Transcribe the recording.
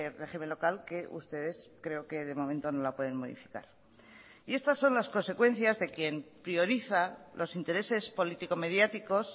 régimen local que ustedes creo que de momento no la pueden modificar y estas son las consecuencias de quien prioriza los intereses político mediáticos